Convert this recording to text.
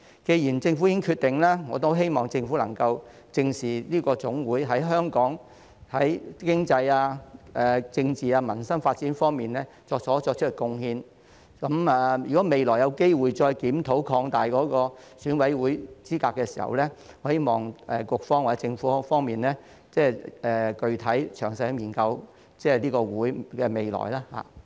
既然政府已經作出決定，我希望政府能夠正視這個總會對香港的經濟、政治、民生發展所作出的貢獻，如果未來有機會再檢討擴大選委會資格的時候，我希望局方或政府可以具體、詳細地研究這個總會的未來。